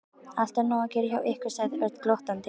Alltaf nóg að gera hjá ykkur sagði Örn glottandi.